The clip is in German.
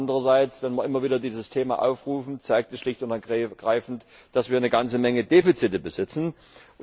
Andererseits, wenn wir immer wieder dieses Thema aufrufen, zeigt dies schlicht und ergreifend, dass wir eine ganze Menge Defizite haben.